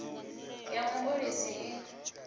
ya mu o ulusi i